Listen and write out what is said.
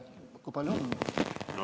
Kui palju on?